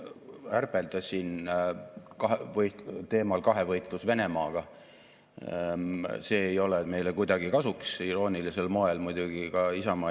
Esimene neist on "Teadus- ja arendustegevuse, innovatsiooni ning ettevõtluse arengukava 2021–2035" ehk TAIE, teine Eesti digiühiskonna arengukava 2030, mis seab visiooni, tegevusplaani, kuidas Eestit majandusena, riigi ja ühiskonnana digitehnoloogia abil järgmise kümnendi jooksul edasi arendada.